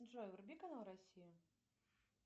джой вруби канал россия